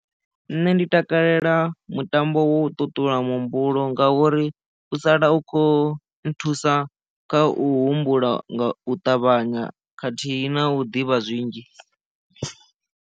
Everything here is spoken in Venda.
Nṋe ndi takalela mutambo wo ṱuṱula muhumbulo ngauri u sala u khou nthusa kha u humbula nga u ṱavhanya khathihi na u ḓivha zwinzhi.